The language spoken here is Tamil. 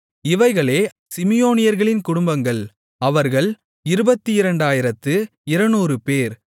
இவைகளே சிமியோனியர்களின் குடும்பங்கள் அவர்கள் 22200 பேர்